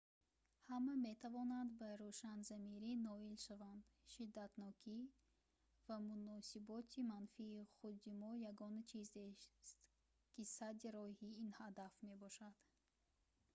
ҳама метавонанд ба рӯшанзамирӣ ноил шаванд шиддатнокӣ ва муносиботи манфии худи мо ягона чизест ки садди роҳи ин ҳадаф мешавад